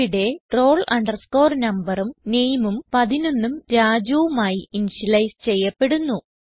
ഇവിടെ roll numberഉം nameഉം 11ഉം Rajuഉം ആയി ഇനിഷ്യലൈസ് ചെയ്യപ്പെടുന്നു